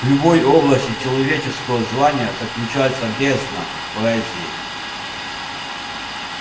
в любой области человеческого знания заключается бездна поэзии